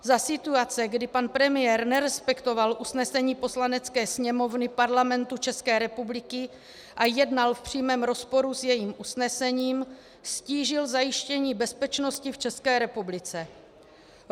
Za situace, kdy pan premiér nerespektoval usnesení Poslanecké sněmovny Parlamentu České republiky a jednal v přímém rozporu s jejím usnesením, ztížil zajištění bezpečnosti v České republice.